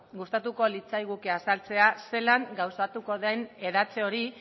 gustatuko litzaiguke azaltzea zelan gauzatuko den hedatze hori